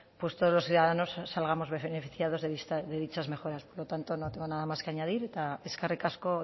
todos los ciudadanos salgamos beneficiados de dichas mejoras por lo tanto no tengo nada más que añadir eta eskerri asko